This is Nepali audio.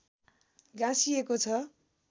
गाँसिएको छ